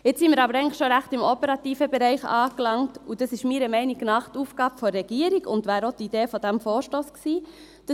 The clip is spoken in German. Jetzt sind wir aber schon ziemlich im operativen Bereich angelangt, und dies ist meiner Meinung nach die Aufgabe der Regierung und wäre auch die Idee dieses Vorstosses gewesen: